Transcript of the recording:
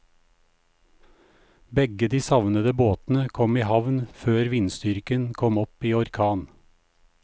Begge de savnede båtene kom i havn før vindstyrken kom opp i orkan.